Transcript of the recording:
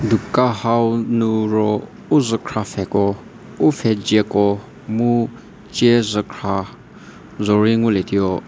dukan hau nu ro u zhükra pfhe ko u pfhedzie ko mu ciezhükhra zo rei ngu lie tuo.